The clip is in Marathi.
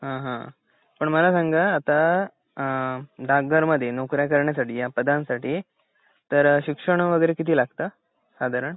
हा हा पण मला सांगा अ डाक घरमध्ये नौकऱ्याकरणासाठी या पदांसाठी तर शिक्षण वगैरे किती लागत साधारण